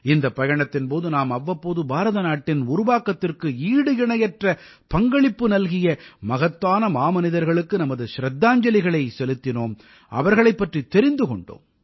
இந்தப் பயணத்தின் போது நாம் அவ்வப்போது பாரத நாட்டின் உருவாக்கத்திற்கு ஈடு இணையற்ற பங்களிப்பு நல்கிய மகத்தான மாமனிதர்களுக்கு நமது சிரத்தாஞ்சலிகளைச் செலுத்தினோம் அவர்களைப் பற்றித் தெரிந்து கொண்டோம்